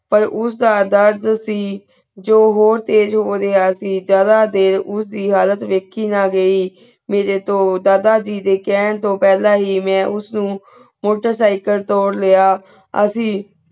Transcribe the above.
ਪਰ ਉਸ ਦਾ ਦਰਦ ਸੀ ਜੋ ਹੋਰ ਤੇਜ ਹੋ ਰਾਯ੍ਹਾ ਸੀ ਜ਼ਾਯਦਾ ਦੇਰ ਉਸ ਦੀ ਹਾਲਤ ਵਾਯ੍ਖੀ ਨਾ ਗਈ ਮੇਰੇ ਤੋ ਦਾਦਾ ਜੀ ਦੇ ਕਹਿਣ ਤੋ ਪਹਲਾ ਹੀ ਮੈ ਉਸ ਨੂ ਹੁਣ ਤੇ motorcycle ਤੋਰ ਲਿਯਾ ਅਸੀਂ